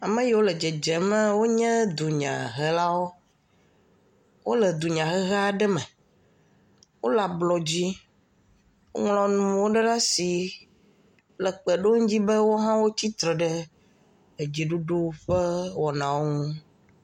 Ame yiwo le dzedzemaa, wonye dunyahelawo. Wole dunyahehe aɖe me. wole ablɔdzi. Woŋlɔ nu ɖewo ɖe asi le kpe ɖom dzi be, wo hã wotsi tre ɖe dziɖuɖu ƒe wɔnawo ŋu.